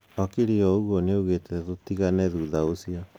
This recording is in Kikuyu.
Okiri o uguo nĩaugite tutigane thutha ũcio.